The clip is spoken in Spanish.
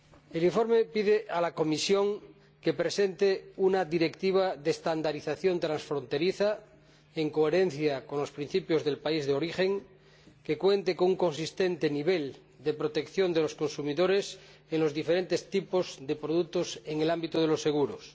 El informe pide a la Comisión que presente una directiva de estandarización transfronteriza, en coherencia con los principios del país de origen, que cuente con un nivel de protección coherente de los consumidores en los diferentes tipos de productos en el ámbito de los seguros.